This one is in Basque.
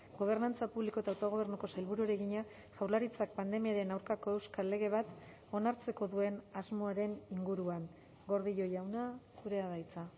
gobernantza publiko eta autogobernuko sailburuari egina jaurlaritzak pandemiaren aurkako euskal lege bat onartzeko duen asmoaren inguruan gordillo jauna zurea da hitza